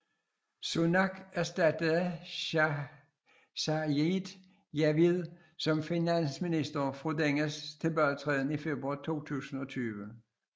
Sunak erstattede Sajid Javid som finansminister efter dennes tilbagetræden i februar 2020